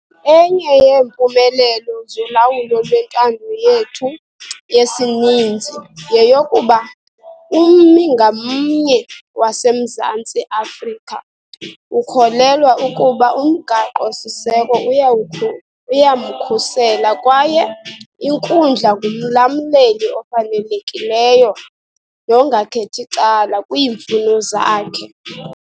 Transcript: Enye yeempumelelo zolawulo lwentando yethu yesininzi yeyokuba ummi ngamnye waseMzantsi Afrika ukholelwa ukuba uMgaqo-siseko uyawukhu uyamkhusela kwaye inkundla ngumlamleli ofanelekileyo nongakhethi cala kwiimfuno zakhe.